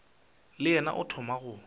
le yena o thoma go